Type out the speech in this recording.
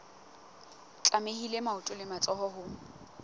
tlamehile maoto le matsoho ho